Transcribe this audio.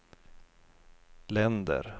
länder